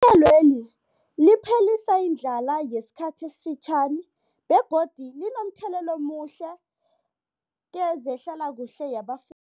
elweli liphelisa indlala yesikhathi esifitjhani begodu linomthelela omuhle kezehlalakuhle yaba